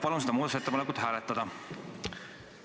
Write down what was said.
Palun seda muudatusettepanekut hääletada!